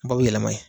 Ba bɛ yɛlɛma yen